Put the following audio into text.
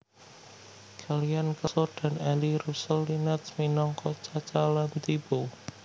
Kellyann Kelso dan Eli Russell Linnetz minangka Chaca lan Tipo